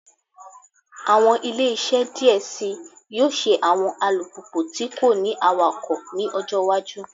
Awọn ile-iṣẹ diẹ sii yoo ṣe awọn alupupu ti ko ni awakọ ni ọjọ iwaju